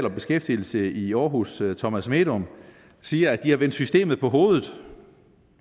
og beskæftigelse i aarhus thomas medom siger at de har vendt systemet på hovedet